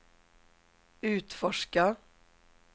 utforska